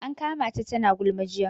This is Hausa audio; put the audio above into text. An kama ta tana gulma jiya